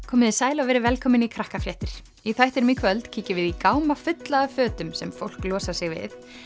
komiði sæl og verið velkomin í í þættinum í kvöld kíkjum við í gáma fulla af fötum sem fólk losar sig við